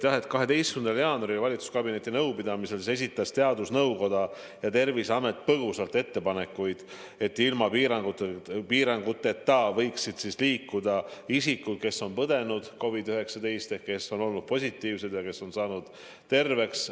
Jah, 12. jaanuaril valitsuskabineti nõupidamisel esitasid teadusnõukoda ja Terviseamet ettepaneku, et ilma piiranguteta võiksid liikuda isikud, kes on COVID-19 läbi põdenud, ehk need, kes on olnud positiivsed ja kes on saanud terveks.